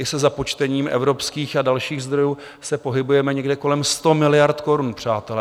I se započtením evropských a dalších zdrojů se pohybujeme někde kolem 100 miliard korun, přátelé.